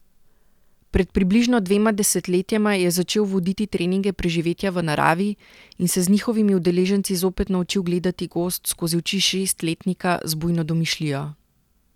Pred približno dvema desetletjema je začel voditi treninge preživetja v naravi in se z njihovimi udeleženci zopet naučil gledati gozd skozi oči šestletnika z bujno domišljijo.